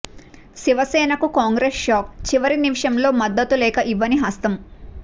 శివసేనకు Congress shock చివరి నిమిషంలో మద్దతు లేఖ ఇవ్వని హస్తం